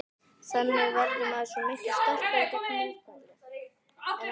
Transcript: Þannig verður maður svo miklu sterkari gegn mótlæti en ella.